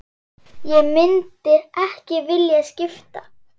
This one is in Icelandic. Ég myndi ekki vilja skipta.